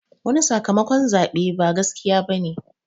Wani sakamakon zaɓe ba gaskiya bane